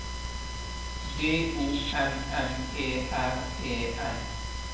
D O M M E R E N